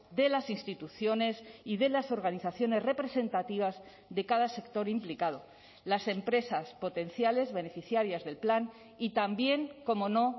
de las instituciones y de las organizaciones representativas de cada sector implicado las empresas potenciales beneficiarias del plan y también cómo no